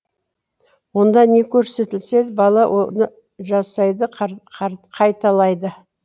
онда не көрсетілсе бала оны жасайды қайталайды